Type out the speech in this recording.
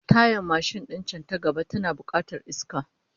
Tayar mashin din can ta gaba tana bukatar iska